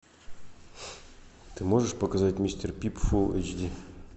ты можешь показать мистер пип фул эйч ди